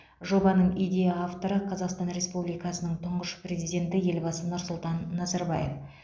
жобаның идея авторы қазақстан республикасының тұңғыш президенті елбасы нұрсұлтан назарбаев